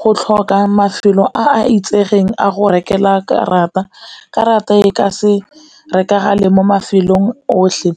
Go tlhoka mafelo a a itsegeng a go rekelwa karata, karata e ka se rekagale mo mafelong otlhe,